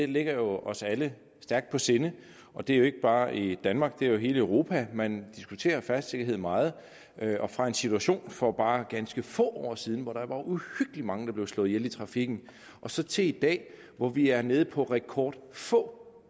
ligger os alle stærkt på sinde og det er jo ikke bare i danmark men i hele europa man diskuterer færdselssikkerhed meget og fra en situation for bare ganske få år siden hvor der var uhyggeligt mange der blev slået ihjel i trafikken og så til i dag hvor vi er nede på rekord få